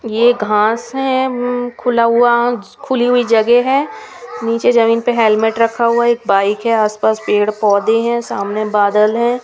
ये घास हैं खुला हुआ खुली हुई जगह है नीचे जमीन पे हेल्मेट रखा हुआ एक बाइक है आसपास पेड़ पौधे हैं सामने बादल है।